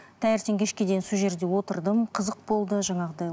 таңертең кешке дейін сол жерде отырдым қызық болды жаңағыдай